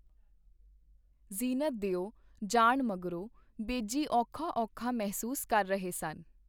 ਜ਼ੀਨਤ ਦਿਓ ਜਾਣ ਮਗਰੋਂ ਬੇਜੀ ਔਖਾ ਔਖਾ ਮਹਿਸੂਸ ਕਰ ਰਹੇ ਸਨ.